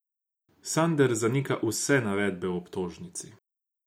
Sanader zanika vse navedbe v obtožnici.